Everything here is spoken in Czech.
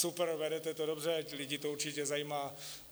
Super, vedete to dobře, lidi to určitě zajímá.